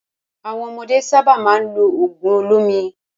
Àwọn ọmọdé sábà máa ń lo òògùn olómi.